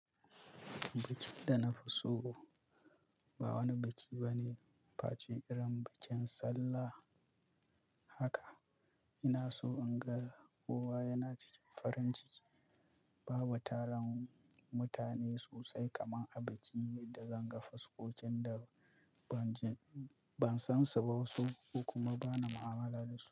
Bikin da na fi so ba wani biki bane face irin bikin Sallah haka. Ina so in ga kowa yana cikin farin ciki, bawai taron mutane sosai kamar a biki da zan ga fuskokin da ban jin ban san su ba wasu ko kuma bana mu'amala da su.